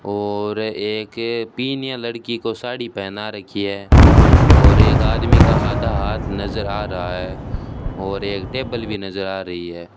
और एक पीनिया लड़की को साड़ी पहना रखी है और एक आदमी का आधा हाथ नजर आ रहा है और एक टेबल भी नजर आ रही है।